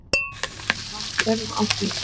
Var þörf á því?